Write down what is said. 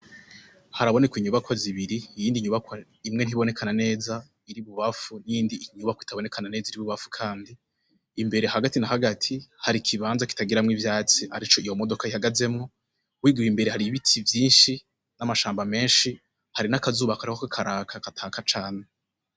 Haraboneka inyubakwa zibiri iyindi nyubakwa imwe ntiboneka na neza iri ibubamfu yindi nyubakwa itaboneka na neza iri ibumbafu kandi, imbere hagati na hagati Hari ikibanza kitagiramwo ivyatsi arico iyo modoka ihagazemwo, wigiwe imbere hari ibiti vyinshi n'amashamba menshi hari n'akazuba kariko karaka kataka cane.